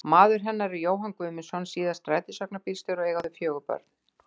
Maður hennar er Jóhann Guðmundsson, síðar strætisvagnabílstjóri, og eiga þau fjögur börn.